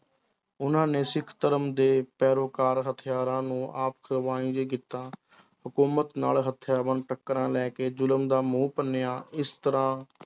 ਉਹਨਾਂ ਨੇ ਸਿੱਖ ਧਰਮ ਦੇ ਪੈਰੋਕਾਰ ਹਥਿਆਰਾਂ ਨੂੰ ਕੀਤਾ ਹਕੂਮਤ ਨਾਲ ਹਥਿਆਰਬੰਦ ਟਾਕਰਾ ਲੈ ਕੇ ਜ਼ੁਲਮ ਦਾ ਮੂੰਹ ਭੰਨਿਆ ਇਸ ਤਰ੍ਹਾਂ